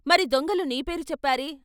"మరి దొంగలు నీ పేరు చెప్పారే?